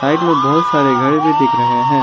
Side में बहोत सारे घर भी दिख रहे हैं।